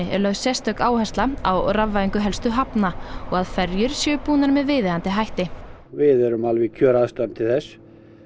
er lögð sérstök áhersla á rafvæðingu helstu hafna og að ferjur séu búnar með viðeigandi hætti við erum alveg í kjöraðstæðum til þess